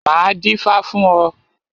Máa dífá fún ọ.